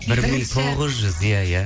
бір мың тоғыз жүз иә иә